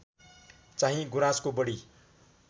चाहिँ गुराँसको बढी